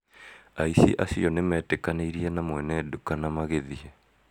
aĩci acio nimetĩkanĩiri na mwene nduka na magĩthiĩ